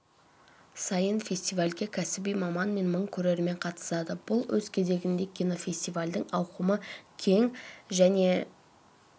сайын фестивальге кәсіби маман мен мың көрермен қатысады бұл өз кезегінде кинофестивальдің ауқымы кең және